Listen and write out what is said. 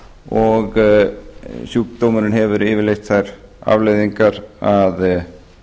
og sjúkdómurinn hefur yfirleitt þær afleiðingar að